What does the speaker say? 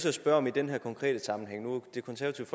at spørge om i den her konkrete sammenhæng det konservative